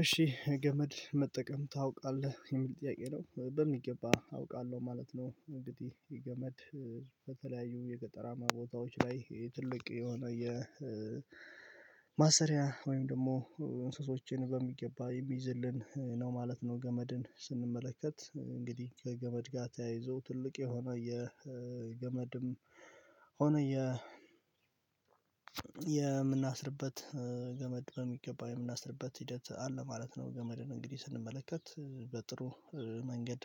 እሺ ገመድ መጠቀም ታውቃለህ የሚል ጥያቄ ነው በሚገባ አውቃለሁ ማለት ነው። እንግዲህ የገመድ በተለያዩ የቀጠራማ ቦታዎች ላይ ትልቅ የሆነ የማሰሪያ ወይም ደግሞ እንስሶችን በሚገባ የሚይዝልን ነው ማለት ነው። ገመድን ስንመለከት እንግዲህ ከገመድ ጋር ተያይዞ ትልቅ የሆነ የገመድም ሆኖ የ የምናስርበት ገመድ በሚገባ የምናስርበት ሂደት አለ ማለት ነው። ገመድን እንግዲህ ስንመለከት በጥሩ መንገድ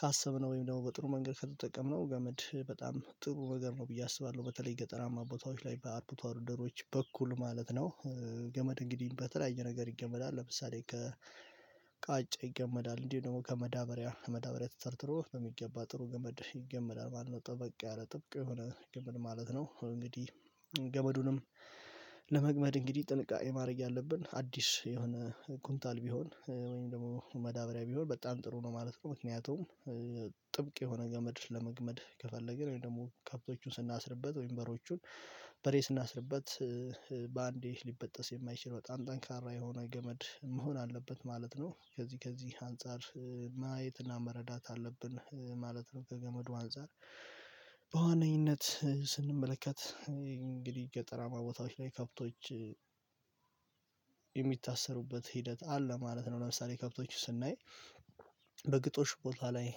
ካሰብነው ወይም ደግሞ በጥሩ መንገድ ከተጠቀምነው ገመድ በጣም ጥሩ ነገር ነው ብዬ አስባለሁ በተለይ ገጠራማ ቦታዎች በአርብቶ አደሮች በኩል ማለት ነው። ገመድ እንግዲህ በተለያየ ነገር ይገመዳል ለምሳሌ ከቃጫ ይገመዳል እንዲሁ ደግሞ ከመዳበሪያ ከመዳበሪያ ተተርትሮ በሚገባ ጥሩ ገመድ ይገመዳል ማለት ነው። ጠበቅ ጥበቃ ያለ ጥበቃ የሆነ ገመድ ማለት ነው። እንግዲህ ገመዱንም ለመግመድ እንግዲህ ጥንቃቄ ማድረግ ያለብን አዲስ የሆነ ኩንታል ቢሆን ወይም ደግሞ መዳብሪያ ቢሆን በጣም ጥሩ ነው ማለት ነው። ምክንያቱም ጥብቅ የሆነ ገመድ ለመግመድ ከፈለገ ነው ወይ ደግሞ ከብቶቹን ስናስርበት ወይም በሮቹን በሬ ስናስርበት በአንዴ ሊበጠስ የማይችል በጣም ጠንካራ የሆነ ገመድ መሆን አለበት ማለት ነው። ከዚህ ከዚህ አንፃር ማየትና መረዳት አለብን ማለት ነው። ከገመዱ አንፃር በዋናነትም ስንመለከት እንግዲህ ገጠራማ ቦታዎች ላይ ከብቶች የሚታሰሩበት ሂደት አለ ማለት ነው። ለምሳሌ ከብቶቹ ስናይ በግጦሽ ቦታ ላይ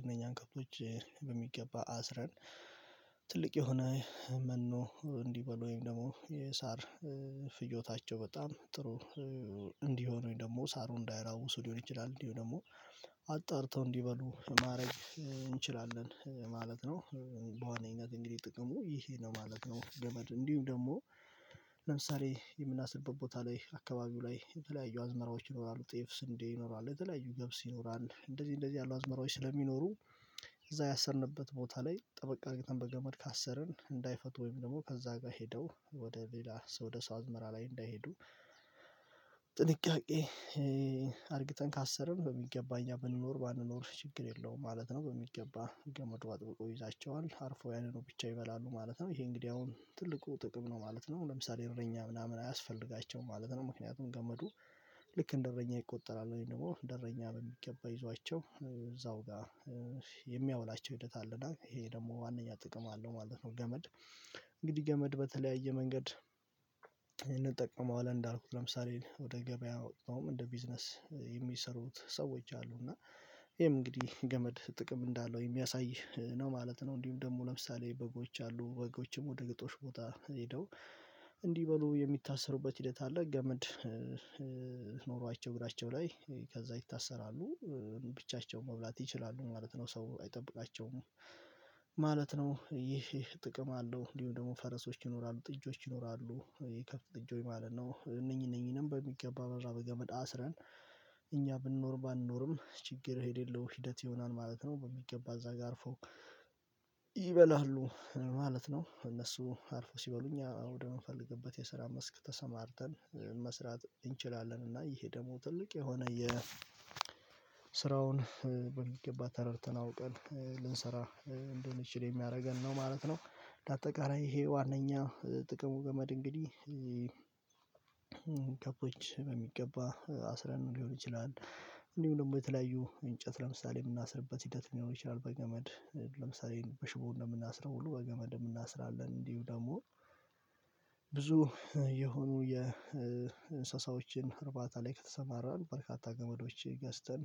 እነኛን ከብቶች በሚገባ አስረን ትልቅ የሆነ መኖ እንዲህ በሉ ወይም ደግሞ የሳር ፍጆታቸው በጣም ጥሩ እንዲህ ሆኖኝ ደግሞ ሳሩ እንዳይራውሱ ሊሆን ይችላል እንዲህ ሆኖ ደግሞ አጠርተው እንዲበሉ ማድረግ እንችላለን ማለት ነው። በዋነኝነት እንግዲህ ጥቅሙ ይሄ ነው ማለት ነው። ገመድ እንዲሁም ደግሞ ለምሳሌ የምናስርበት ቦታ ላይ አካባቢው ላይ የተለያዩ አዝመራዎች ይኖራሉ ጤፍ ስንዴ ይኖራል የተለያዩ ገብስ ይኖራል እንደዚህ እንደዚህ ያሉ አዝመራዎች ስለሚኖሩ እዛ ያሰርንበት ቦታ ላይ ጠበቅ አድርገን በገመድ ካሰርን እንዳይፈቱ ወይም ደግሞ ከዛ ጋር ሄደው ወደ ሌላ ወደ ሰው አዝመራ ላይ እንዳይሄዱ ጥንቃቄ አድርግተን ካሰርን በሚገባ እኛ ብንኖር ባንኖር ችግር የለውም ማለት ነው። በሚገባ ገመዱ አጥብቆ ይይዛቸዋል አርፎ ያንን ነው ብቻ ይበላሉ ማለት ነው። ይሄ እንግዲህ አሁን ትልቁ ጥቅም ነው ማለት ነው። ለምሳሌ እረኛ ምናምን አያስፈልጋቸውም ማለት ነው። ምክንያቱም ገመዱ ልክ እንደ እረኛ ይቆጠራል ወይም ደግሞ እንደ እረኛ በሚገባ ይዟቸው እዛው ጋር የሚያውላቸው ሂደት አለና ይሄ ደግሞ ዋናኛ ጥቅም አለው ማለት ነው። ገመድ እንግዲህ ገመድ በተለያየ መንገድ እንጠቀመዋለን እንዳልኩት ለምሳሌ ወደ ገበያው እንደ ቢዝነስ የሚሰሩት ሰዎች አሉ እና ይሄም እንግዲህ ገመድ ጥቅም እንዳለው የሚያሳይ ነው ማለት ነው። እንዲሁም ደግሞ ለምሳሌ በጎች አሉ ወጎችም ወደ ግጦሽ ቦታ ሄደው እንዲህ በሉ የሚታሰሩበት ሂደት አለ። ገመድ እግራቸው ላይ ከዛ ይታሰራሉ ብቻቸው መብላት ይችላሉ ማለት ነው። ሰው አይጠብቃቸውም ማለት ነው። ይሄ ጥቅም አለው እንዲሁም ደግሞ ፈረሶች ይኖራሉ ጥጆች ይኖራሉ ይከፍት ኢንጆይ ማለት ነው እነኚህ እነኚህንም በሚገባ በራበ ገመድ አስረን እኛ ብንኖር ባንኖርም ችግር የሌለው ሂደት ይሆናል ማለት ነው። በሚገባ እዛ ጋር አርፎ ይበላሉ ማለት ነው። እነሱ አልፎ ሲበሉኝ ወደምንፈልግበት የስራ መስክ ተሰማርተን መስራት እንችላለን እና ይሄ ደግሞ ትልቅ የሆነ ስራውን በሚገባ ተረድተን አውቀን ልንሰራ እንደ ምችል የሚያደርገን ነው ማለት ነው። ለአጠቃላይ ይሄ ዋናኛ ጥቅሙ ገመድ እንግዲህ ከብቶች በሚገባ አስረን ሊሆን ይችላል እንዲሁ ደግሞ የተለያዩ እንጨት ለምሳሌ የምናስርበት ሂደት ሊሆን ይችላል። በገመድ ለምሳሌ በሽቦ እንደምናስረው ሁሉ በገመድ እንደምናስራለን እንዲሁ ደግሞ የሆኑ የእንስሳዎችን እርባታ ላይ ከተሰማራን በርካታ ገመዶች ገዝተን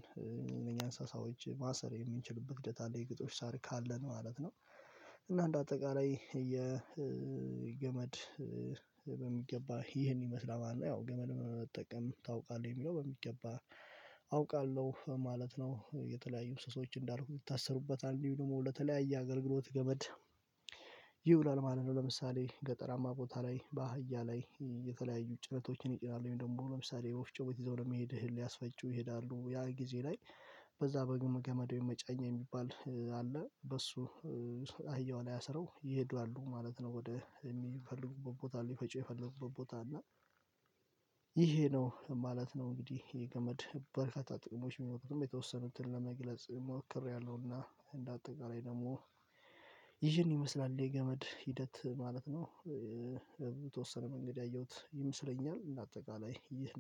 እኛ እንሳሳዎች ማሰር የምንችል ህዴት አለ የግጦሽ ሳር ካለ ማለት ነው። እና እንደ አጠቃላይ የገመድ በሚገባ ይህን ይመስላል ማን ነው? ያው ገመል መጠቀም ታውቃለህ የሚለው በሚገባ አውቃለሁ ማለት ነው። የተለያዩ እንስሶች እንዳልኩት ይታሰሩበታል ደግሞ ለተለያየ አገልግሎት ገመድ ይውላል ማለት ነው። ለምሳሌ ገጠራማ ቦታ ላይ በአህያ ላይ የተለያዩ ጭነቶችን ይጭናሉ ወይም ደግሞ ለምሳሌ ወፍጮ ቤት ይዘው ለመሄድ ህል ሊያስፈጩ ይሄዳሉ ያ ጊዜ ላይ በዛ በግም ገመድ የመጫኝ የሚባል አለ በሱ አህያውን አያሰሩ ይሄዱ አሉ ማለት ነው። ወደ የሚፈልጉበት ቦታ ሊፈጪ የፈለጉበት ቦታ እና ይሄ ነው ማለት ነው። እንግዲህ የገመድ በርካታ ጥቅሞች ብኖሩትም የተወሰኑትን ለመግለጽ ሞክሬያለሁና እንደ አጠቃላይ ደግሞ ይመስላል የገመድ ሂደት ማለት ነው። የተወሰነ መንገድ ያየሁት ይመስለኛል አጠቃላይ ይህ